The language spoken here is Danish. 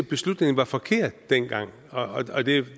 beslutningen var forkert dengang og